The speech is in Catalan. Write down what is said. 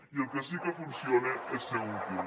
i el que sí que funciona és ser útil